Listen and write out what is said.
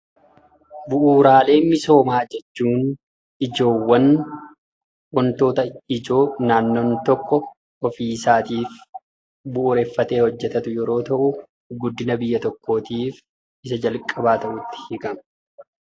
Bu'uuraalee misoomaa jechuun ijoowwan wantoota ijoo naannoon tokko ofiisaatiif bu'uureffatee hojjetatu yeroo ta'u, guddina biyya tokkootiif isa jalqabaa ta'uutti hiikama.